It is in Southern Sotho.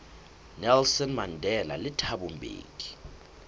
nelson mandela le thabo mbeki